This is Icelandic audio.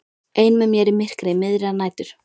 Ein með mér í myrkri miðrar nætur.